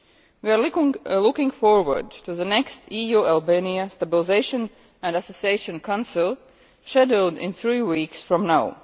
We are looking forward to the next EU Albania Stabilisation and Association Council scheduled for three weeks from now.